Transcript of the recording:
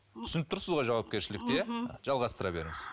түсініп тұрсыз ғой жауапкершілікті иә жалғастыра беріңіз